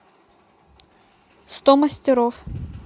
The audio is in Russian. сто мастеров